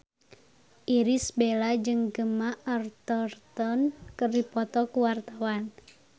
Irish Bella jeung Gemma Arterton keur dipoto ku wartawan